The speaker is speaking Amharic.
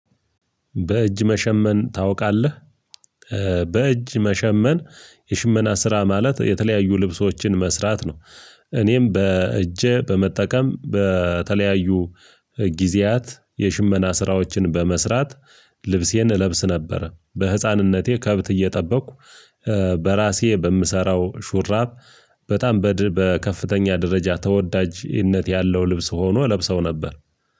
በእጅ መሸመን ታውቃለህ? ኧ በእጅ መሸመን የሽመና ስራ ማለት የተለያዩ ልብሶችን መስራት ነው። እኔም በእጄ በመጠቀም በተለያዩ ጊዜያት የሽመና ስራዎችን በመስራት ልብሴን እለብስ ነበረ። በህፃንነቴ ከብት እየጠበቅኩ ኧ በራሴ በምሰራው ሹራብ በጣም በድ በከፍተኛ ደረጃ ተወዳጅነት ያለው ልብስ ሆኖ ለብሰው ነበር።